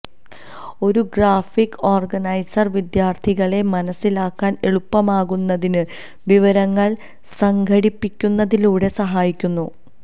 ഒരു graphic organiser വിദ്യാർത്ഥികളെ മനസ്സിലാക്കാൻ എളുപ്പമാക്കുന്നതിന് വിവരങ്ങൾ സംഘടിപ്പിക്കുന്നതിലൂടെ സഹായിക്കുന്നു